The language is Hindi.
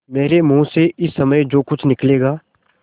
मेरे मुँह से इस समय जो कुछ निकलेगा